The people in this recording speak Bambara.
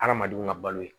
Adamadenw ka balo ye